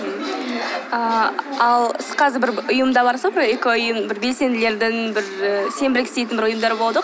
ыыы ал сіз қазір бір ұйымда барсыз ба бір экоұйым бір белсенділердің бір і сенбілік істейтін ұйымдар болады ғой